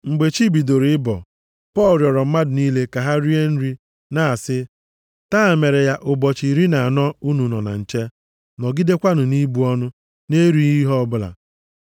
Mgbe chi bidoro ịbọ, Pọl rịọrọ mmadụ niile ka ha rie nri, na-asị, “Taa mere ya ụbọchị iri na anọ unu nọ na nche, nọgidekwa nʼibu ọnụ, nʼerighị ihe ọbụla.